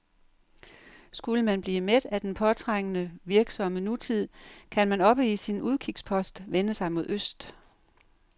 Skulle man blive mæt af den påtrængende, virksomme nutid, kan man oppe på sin udkigspost vende sig mod øst.